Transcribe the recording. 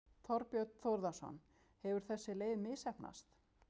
Þorbjörn Þórðarson: Hefur þessi leið misheppnast?